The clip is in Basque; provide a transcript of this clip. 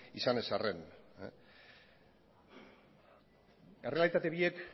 izan ez arren errealitate biek